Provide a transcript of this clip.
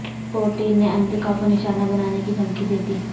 Putin نے امریکہ کو نشانہ بنانے کی دھمکی دیدی